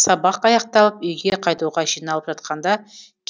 сабақ аяқталып үйге қайтуға жиналып жатқанда